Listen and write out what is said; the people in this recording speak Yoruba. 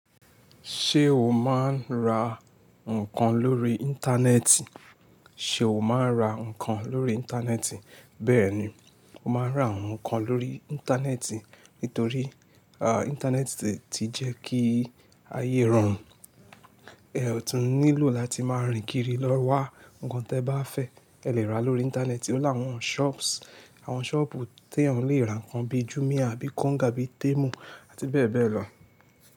Ṣé o máa ń ra nǹkan lórí Íńtánẹ́ẹ̀tì? Ṣe o máa ń ra nǹkan lórí Íńtánẹ́ẹ̀tì? Bẹ́ẹ̀ni, mo máa ń ra àwọn nǹkan lórí Íńtánẹ́ẹ̀tì torí Íńtánẹ́ẹ̀tì ti jẹ́ kí ayé rọrùn. Ẹ ò tún nílò láti máa rìn kiri lọ wá nǹkan tí ẹ bá fẹ́, ẹ lè ra lórí Íńtánẹ́ẹ̀tì ní láwọn shops. Àwọn shopù tí èèyàn lè ra nǹkan bíi Jumia, bíi Konga, bíi Temu àti bẹ́ẹ̀ bẹ́ẹ̀ lọ.